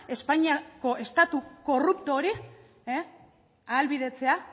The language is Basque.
espainiako estatu korrupto hori ahalbidetzea